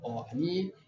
Ɔ ni